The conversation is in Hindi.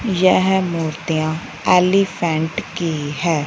यह मूर्तियां एलीफेंट की है।